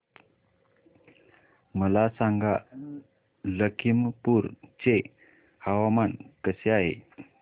मला सांगा लखीमपुर चे हवामान कसे आहे